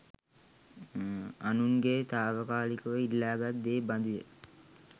අනුන්ගෙන් තාවකාලිකව ඉල්ලාගත් දේ බඳු ය.